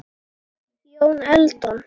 Jón Eldon